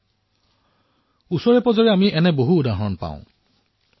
আপোনালোকে ওচৰেপাজৰে এনে বহু উদাহৰণ দেখিবলৈ পাব